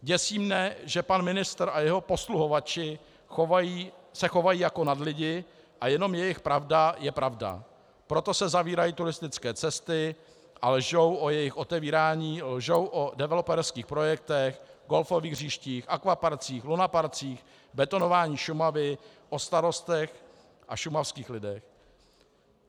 Děsí mne, že pan ministr a jeho posluhovači se chovají jako nadlidi a jenom jejich pravda je pravda, proto se zavírají turistické cesty, a lžou o jejich otevírání, lžou o developerských projektech, golfových hřištích, akvaparcích, lunaparcích, betonování Šumavy, o starostech a šumavských lidech.